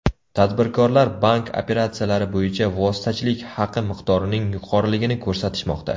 Tadbirkorlar bank operatsiyalari bo‘yicha vositachilik haqi miqdorining yuqoriligini ko‘rsatishmoqda.